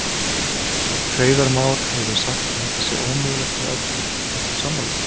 Hreiðar Már hefur sagt að þetta sé ómögulegt með öllu, ertu sammála?